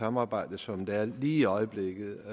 samarbejde som der er lige i øjeblikket